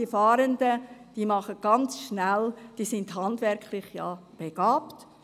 Die Fahrenden seien ja handwerklich begabt.